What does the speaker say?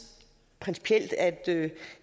principielt at